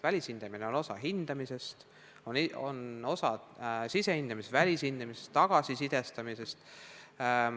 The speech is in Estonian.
Välishindamine on osa hindamisest, see on osa paketist sisehindamine, välishindamine ja tagasisisestamine.